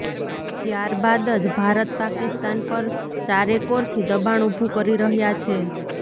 ત્યાર બાદ જ ભારત પાકિસ્તાન પર ચારેકોરથી દબાણ ઉભુ કરી રહ્યાં છે